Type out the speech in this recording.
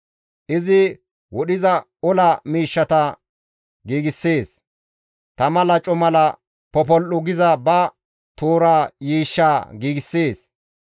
Izi wodhiza ola miishshata giigssees; tama laco mala popol7u giza ba toora yiishshaa giigssees.